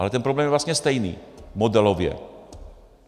Ale ten problém je vlastně stejný - modelově.